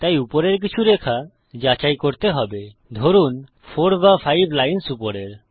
তাই উপরের কিছু রেখা যাচাই করতে হবে ধরুন 4 বা 5 লাইন্স উপরের